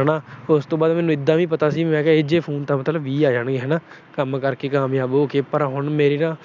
ਹਨਾ। ਉਸ ਤੋਂ ਬਾਅਦ ਮੈਨੂੰ ਪਤਾ ਸੀ ਇਹੋ ਜਿਹੇ ਫੋਨ ਤਾਂ ਵੀਹ ਆ ਜਾਣਗੇ ਹਨਾ। ਕੰਮ ਕਰਕੇ ਹੁਣ ਮੇਰੇ ਨਾ